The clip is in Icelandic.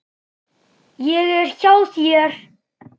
Ég er hjá þér.